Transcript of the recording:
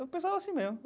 Eu pensava assim mesmo.